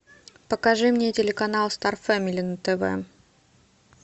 покажи мне телеканал стар фэмили на тв